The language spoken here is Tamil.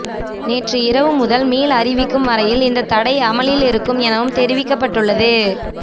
நேற்று இரவு முதல் மீள் அறிவிக்கும் வரையில் இந்தத் தடை அமுலில் இருக்கும் எனவும் தெரிவிக்கப்பட்டுள்ளது